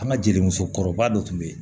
An ka jelimuso kɔrɔba dɔ tun bɛ yen